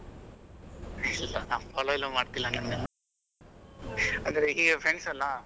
ಇಲ್ಲ ನಾವು follow ಎಲ್ಲಾ ಮಾಡ್ತಿಲ್ಲ ನಿಮ್ಮನ್ನ ಅಂದ್ರೆ ಹೀಗೆ friends ಅಲ್ಲಾ.